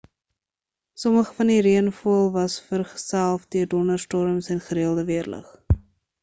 sommige van die reënval was vergeself deur donderstorms en gereelde weerlig